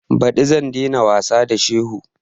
Ɓadi zan dai na wasa da shehu